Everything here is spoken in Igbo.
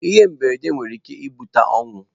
Ihe mberede nwere ike ibute ọnwụ.